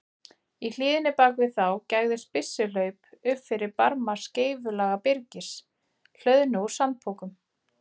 Í hlíðinni bak við þá gægðist byssuhlaup upp fyrir barma skeifulaga byrgis, hlöðnu úr sandpokum.